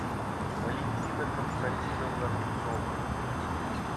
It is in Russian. валентина константиновна рубцова